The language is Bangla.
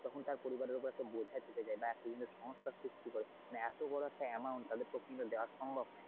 তখন তার পরিবারের ওপর একটা বোঝা চেপে যায়, বা একটা সমস্যার সৃষ্টি করে মানে এতো বড় একটা amount তাদের পক্ষে কি দেওয়া সম্ভব না।